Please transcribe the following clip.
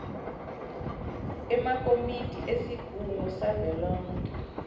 emakomiti esigungu savelonkhe